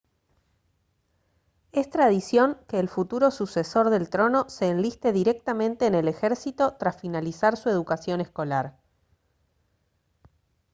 es tradición que el futuro sucesor del trono se enliste directamente en el ejército tras finalizar su educación escolar